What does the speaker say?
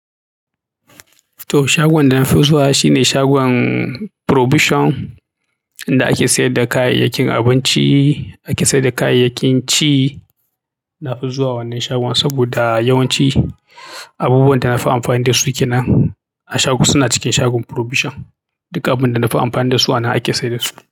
To shagon da nafi zuwa shine shagon purobision inda ake siyadda kayayyakin abinci ake siyadda kayayyakin ci na fi zuwa wannan shagon saboda yawanci abubuwan da na fi amfani da su kenan a shago suna cikin shagon purobision. Duka abin da na fi amfani da su ana ake sayar da su.